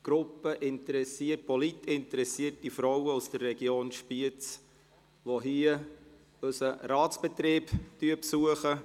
Es ist eine Gruppe politisch interessierter Frauen aus der Region Spiez, die unseren Ratsbetrieb besuchen.